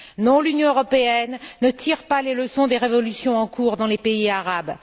Non, l'Union européenne ne tire pas les leçons des révolutions en cours dans les pays arabes.